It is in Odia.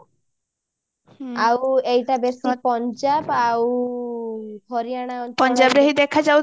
ଆଉ ଏଟା ଦେଶ ପଞ୍ଜାବ ଆଉ ହରିୟାନା ଦେଖା